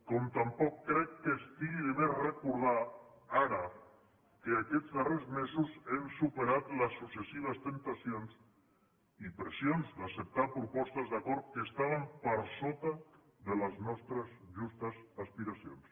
com tampoc crec que estigui de més recordar ara que aquests darrers mesos hem superat les successives temptacions i pressions d’acceptar propostes d’acord que estaven per sota de les nostres justes aspiracions